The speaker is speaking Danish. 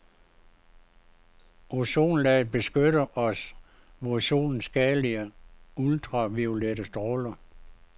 Ozonlaget beskytter os mod solens skadelige ultraviolette stråler.